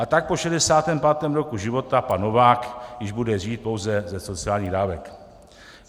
A tak po 65. roku života pan Novák již bude žít pouze ze sociálních dávek.